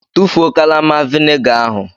Tụfuo kalama vinegar ahụ!